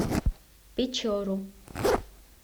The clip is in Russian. печору